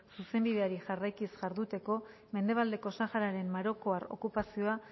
zuzenbideari jarraikiz jarduteko mendebaldeko sahararen marokoar okupazioa